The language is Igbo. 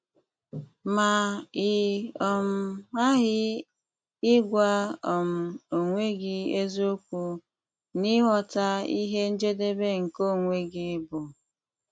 Ma ị um ghaghị ịgwa um onwe gị eziokwu n'ịghọta ihe njedebe nke onwe gị bụ!